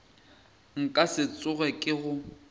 nka se tsoge ke go